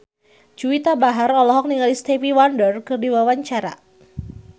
Juwita Bahar olohok ningali Stevie Wonder keur diwawancara